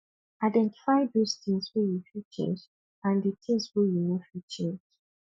identify those things wey you fit change and di things wey you no fit change